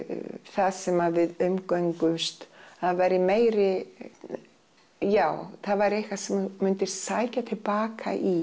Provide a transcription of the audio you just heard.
það sem að við umgöngumst það væri meiri já það væri eitthvað sem þú myndir sækja til baka í